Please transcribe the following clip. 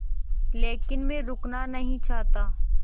लेकिन मैं रुकना नहीं चाहता